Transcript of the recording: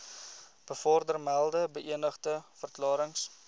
bovermelde beëdigde verklarings